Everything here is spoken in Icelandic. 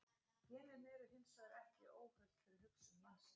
Genin eru hins vegar ekki óhult fyrir hugsun mannsins.